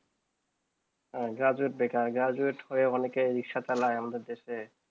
graduate বেকার graduate করে অনেক ই রিকশা চালায়ে আমাদের দেশে